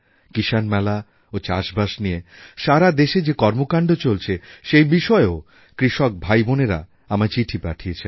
কিষাণ মেলা ও চাষবাস নিয়ে সারা দেশে যে কর্মকাণ্ড চলছে সেই বিষয়েও কৃষক ভাইবোনেরা আমায় চিঠি পাঠিয়েছেন